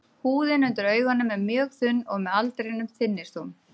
Húðin undir augunum er mjög þunn og með aldrinum þynnist hún.